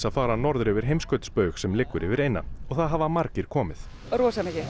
fara norður yfir heimskautsbaug sem liggur yfir eyjuna og það hafa margir komið rosa mikið